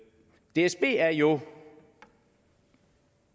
dsb er jo